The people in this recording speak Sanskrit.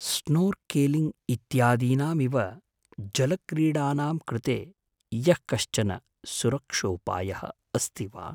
स्नोर्केलिङ्ग् इत्यादीनामिव जलक्रीडानां कृते यःकश्चन सुरक्षोपायः अस्ति वा?